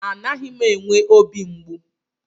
Anaghị m enwe obi mgbu.